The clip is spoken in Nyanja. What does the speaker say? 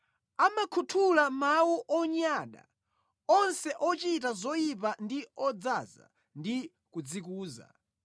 Amakhuthula mawu onyada; onse ochita zoyipa ndi odzaza ndi kudzikuza.